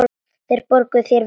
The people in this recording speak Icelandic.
Þeir borguðu þér vel.